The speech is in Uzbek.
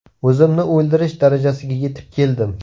O‘zimni o‘ldirish darajasiga yetib keldim.